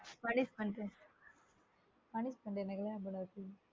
punishment punishment எனக்கு தான் இவர வச்சு